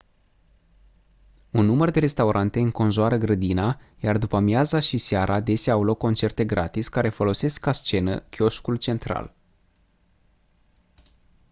un număr de restaurante înconjoară grădina iar după-amiaza și seara adesea au loc concerte gratis care folosesc ca scenă chioșcul central